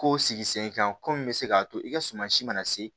Ko sigi sen kan komi n bɛ se k'a to i ka suma si mana se